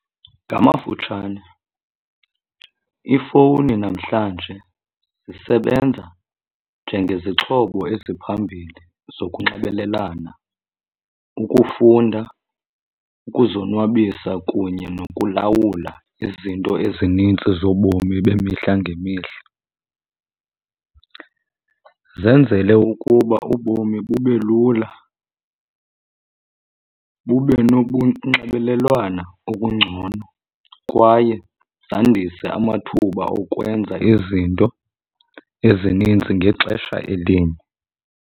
Ngamafutshane iifowuni namhlanje zisebenza njengezixhobo eziphambili zokunxibelelana, ukufunda, ukuzonwabisa kunye nokulawula izinto ezinintsi zobomi bemihla ngemihla. Zenzele ukuba ubomi bube lula bube nobunxibelelwana obungcono kwaye zandise amathuba okwenza izinto ezininzi ngexesha elinye.